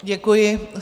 Děkuji.